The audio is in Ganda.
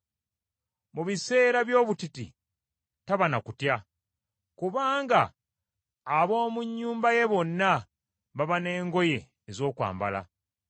Mu biseera by’obutiti taba na kutya, kubanga ab’omu nnyumba ye bonna baba n’engoye ez’okwambala.